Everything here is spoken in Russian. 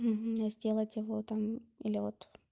сделать его там или вот